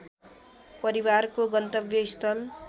परिवारको गन्तव्यस्थल